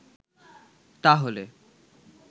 তা হলে